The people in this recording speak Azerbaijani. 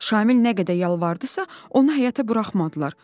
Şamil nə qədər yalvardısa, onu həyətə buraxmadılar.